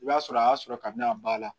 I b'a sɔrɔ a y'a sɔrɔ kabini a b'a la